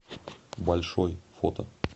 большой фото